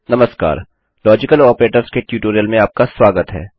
नमस्कार logical operators के tutorial में आपका स्वागत है